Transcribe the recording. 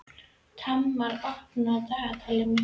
Tamar, opnaðu dagatalið mitt.